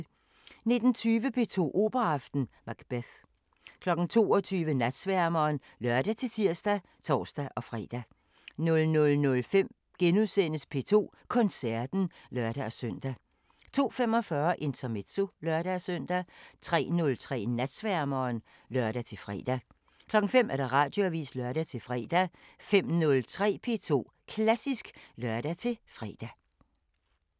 19:20: P2 Operaaften: Macbeth 22:00: Natsværmeren (lør-tir og tor-fre) 00:05: P2 Koncerten *(lør-søn) 02:45: Intermezzo (lør-søn) 03:03: Natsværmeren (lør-fre) 05:00: Radioavisen (lør-fre) 05:03: P2 Klassisk (lør-fre)